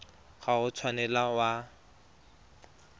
ga o a tshwanela wa